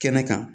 Kɛnɛ kan